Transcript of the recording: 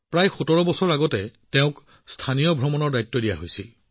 প্ৰায় ১৭ বছৰ আগতে তেওঁ ছাইট ছিইম উইঙত দায়িত্ব পাইছিল